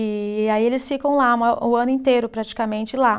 E aí eles ficam lá mo, o ano inteiro, praticamente lá.